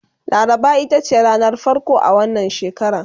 laraba itace ranar farko a wannan shekara